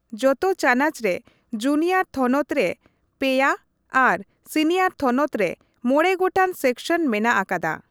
ᱡᱚᱛᱚ ᱪᱟᱱᱟᱪ ᱨᱮ ᱡᱩᱱᱤᱭᱚᱨ ᱛᱷᱚᱱᱚᱛ ᱨᱮ ᱯᱮᱭᱟ ᱟᱨ ᱥᱤᱱᱤᱭᱚᱨ ᱛᱷᱚᱱᱚᱛ ᱨᱮ ᱢᱚᱬᱮ ᱜᱚᱴᱟᱝ ᱥᱮᱠᱥᱚᱱ ᱢᱮᱱᱟᱜ ᱟᱠᱟᱫᱟ ᱾